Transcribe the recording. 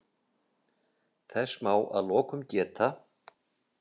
Þess má að lokum geta.